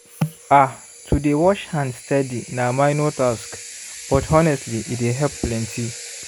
ah to dey wash hand steady na minor task but honestly e dey help plenty